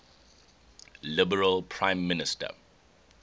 liberal prime minister